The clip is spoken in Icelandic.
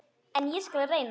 En ég skal reyna.